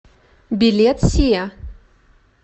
билет сиа